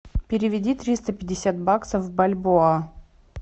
переведи триста пятьдесят баксов в бальбоа